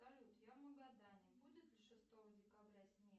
салют я в магадане будет ли шестого декабря снег